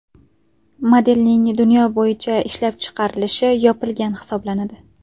Modelning dunyo bo‘yicha ishlab chiqarilishi yopilgan hisoblanadi.